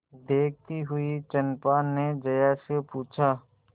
देखती हुई चंपा ने जया से पूछा